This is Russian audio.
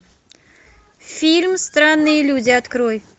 фильм странные люди открой